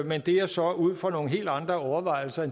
men det er så ud fra nogle helt andre overvejelser